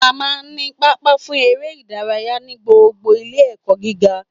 A máa n ní pápá fún eré ìdárayá ní gbogbo Ilé ẹ̀kọ́ gíga